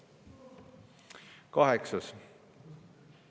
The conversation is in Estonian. Kaheksas küsimus.